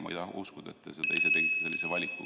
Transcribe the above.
Ma ei taha uskuda, et te ise tegite sellise valiku.